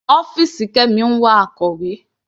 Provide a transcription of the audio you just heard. Ọ́fìsì Kemi ń wá akọ̀wé.